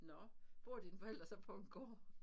Nåh bor dine forældre så på en gård?